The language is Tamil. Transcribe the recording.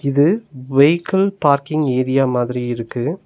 இது வெய்கிள் பார்க்கிங் ஏரியா மாதிரி இருக்கு.